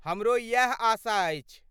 हमरो इएह आशा अछि।